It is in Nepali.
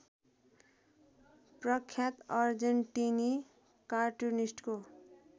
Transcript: प्रख्यात अर्जेन्टिनी कार्टुनिस्टको